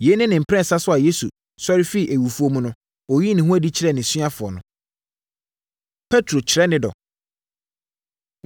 Yei ne ne mprɛnsa so a Yesu sɔre firii awufoɔ mu no, ɔyii ne ho adi kyerɛɛ nʼasuafoɔ no. Petro Kyerɛ Ne Dɔ